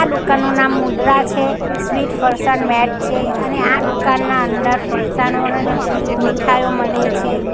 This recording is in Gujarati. દુકાનનું નામ મુદ્રા છે સ્વીટ ફરસાણ માર્ટ છે અને આ દુકાનના અંદર ફરસાણો અને મીઠાઈઓ મલે છે.